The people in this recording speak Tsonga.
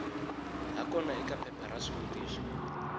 hakona eka phepha ra swivutiso